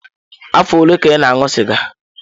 Afọ ole ka ị na-aṅụ sịga?